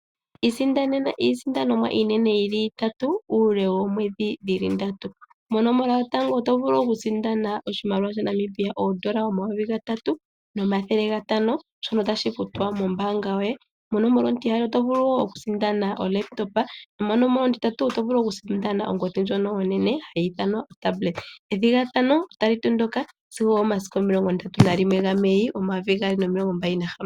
Isindanena iisindanomwa iinene yili itatu uule woomwedhi dhili ndatu. Mo nomola yotango oto vulu oku sindana oshimaliwa shaNamibia oondola omayovi gatatu no mathele gatano shono tashi futwa mombaanga yoye. Mo nomola ontiyali oto vulu oku sindana oLaptop. Mo nomola ontintatu oto vulu oku sindana ongodhi ndjono onene hayi ithanwa oTablet. Ethigathano otali tondoka sigo omo masiku omilongo ndatu na limwe ga Mei, omayovi omilongo mbali nahamano.